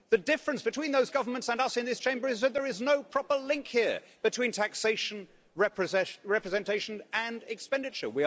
The difference between those governments and us in this Chamber is that there is no proper link here between taxation, representation and expenditure.